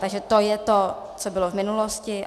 - Takže to je to, co bylo v minulosti.